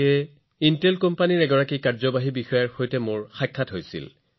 মাত্ৰ কেইদিনমান পূৰ্বে মই ইণ্টেলৰ চিইঅক লগ পাইছিলো